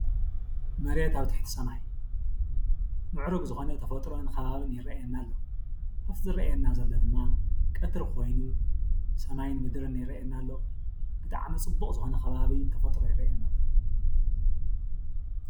መሬት ኣብ ትሕቲ ሰማይ እያ ምዕሩግ ዝኮነ ተፈጥሮ ከባቢ ይርኣየና ኣሎ። ምስ ዝርኣየና ዘሎ ድማ ቀትሪ ኮይኑ ሰማይ ምድርን ይርኣየና ኣሎ። ብጣዕሚ ፅቡቅ ዝኮነ ከባቢ ተፈጥሮ ይርኣየኒ ኣሎ።